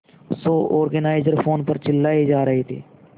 show organiser phone पर चिल्लाए जा रहे थे